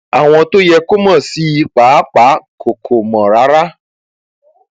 àwọn tó yẹ kó mọ sí i pàápàá kò kò mọ rárá